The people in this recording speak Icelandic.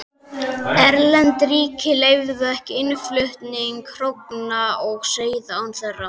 Erlend ríki leyfðu ekki innflutning hrogna og seiða án þeirra.